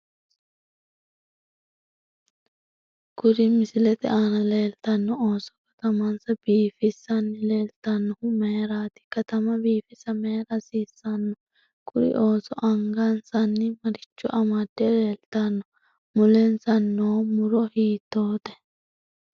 Kuri misilete aana leetano ooso katamansa biifisanni leeltanohu mayiirati katama biifisa mayiira hasiisanno kuri ooso angansanni maricho amadde leeltano mulensa noo muro hiitoote